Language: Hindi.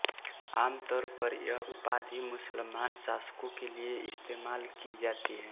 आम तौर पर यह उपाधि मुस्लमान शासकों के लिए इस्तेमाल की जाती है